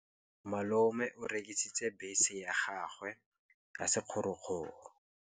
Malome o rekisitse bese ya gagwe ya sekgorokgoro.